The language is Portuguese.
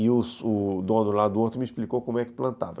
E o o dono lá do outro me explicou como é que plantava.